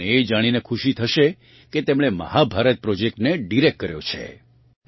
તમને એ જાણીને ખુશી થશે કે તેમણે મહાભારત પ્રોજેક્ટને ડિરેક્ટ કર્યો છે